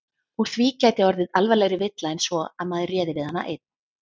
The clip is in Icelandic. Úr því gæti orðið alvarlegri villa en svo að maður réði við hana einn.